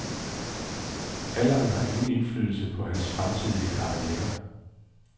Alderen har ingen indflydelse på hans fremtidige karriere.